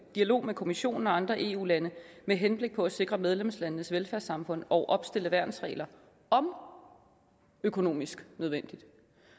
dialog med kommissionen og andre eu lande med henblik på at sikre medlemslandenes velfærdssamfund og opstille værnsregler om økonomisk nødvendigt